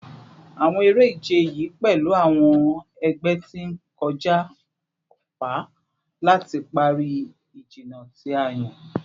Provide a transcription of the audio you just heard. Awọn ere-ije yii pẹlu awọn ẹgbẹ ti n kọja ọpa lati pari ijinna ti a yan